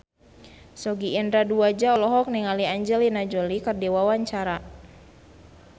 Sogi Indra Duaja olohok ningali Angelina Jolie keur diwawancara